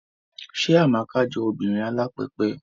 Ṣé Amaka jọ obìnrin alápẹpẹ?